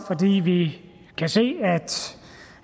vi kan se